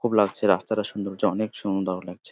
খুব লাগছে রাস্তাটা সুন্দর বলছে অনেক সুন্দর লাগছে।